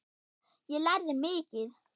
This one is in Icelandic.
Ég lærði mikið.